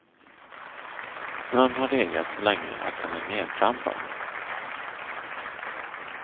Snön har legat så länge att den är nertrampad.